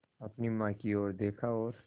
अपनी माँ की ओर देखा और